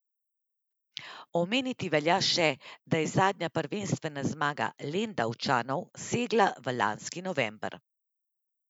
Omeniti velja še, da je zadnja prvenstvena zmaga Lendavčanov segala v lanski november.